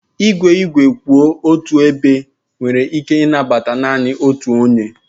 Igwe igwe kwụ otu ebe nwere ike ịnabata naanị otu onye